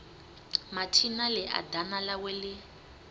mathina ḽia ḓana ḽawe ḽi